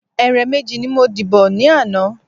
Ẹ̀rẹ̀ méjì ni mo dìbọ̀ ni ana